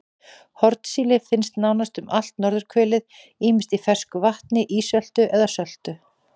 Hornsíli finnst nánast um allt norðurhvelið ýmist í fersku vatni, ísöltu eða söltu.